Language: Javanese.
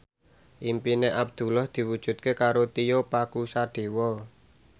impine Abdullah diwujudke karo Tio Pakusadewo